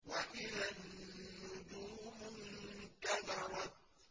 وَإِذَا النُّجُومُ انكَدَرَتْ